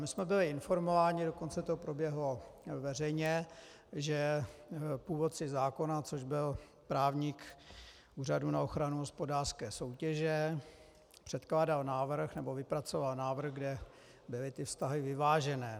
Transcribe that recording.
My jsme byli informováni, dokonce to proběhlo veřejně, že původce zákona, což byl právník Úřadu na ochranu hospodářské soutěže, předkládal návrh, nebo vypracoval návrh, kde byly ty vztahy vyvážené.